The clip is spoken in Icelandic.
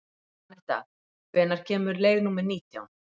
Anetta, hvenær kemur leið númer nítján?